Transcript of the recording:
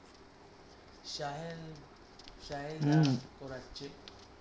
Sahil Sahil করাছে